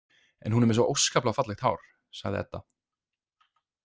En hún er með svo óskaplega fallegt hár, sagði Edda.